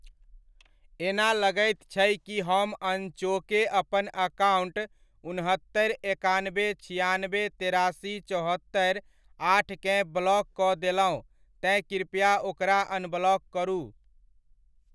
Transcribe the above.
एना लगैत छै कि हम अनचोके अपन अकाउण्ट उनहत्तरि एकानबे छिआनबे तेरासी चौहत्तरि आठकेँ ब्लॉक कऽ देलहुँ तेँ कृपया ओकरा अनब्लॉक करू।